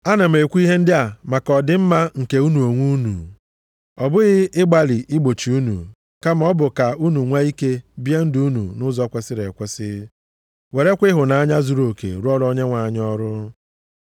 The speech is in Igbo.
Ana m ekwu ihe ndị a maka ọ dị mma nke unu onwe unu, ọ bụghị ịgbalị igbochi unu, kama ọ bụ ka unu nwee ike bie ndụ unu nʼụzọ kwesiri ekwesi, werekwa ịhụnanya zuruoke rụọra Onyenwe anyị ọrụ.